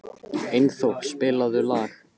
Einþór, spilaðu lag.